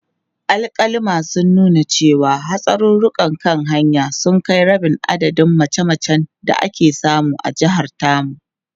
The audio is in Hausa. Alkaluma sun nuna cewa, hatsarurrukan kan hanya sun kai rabin adadin mace-macen da ake samu a jihar tamu.